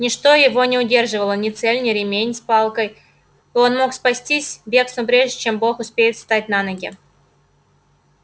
ничто его не удерживало ни цель ни ремень с палкой и он мог спастись бегством прежде чем бог успеет встать на ноги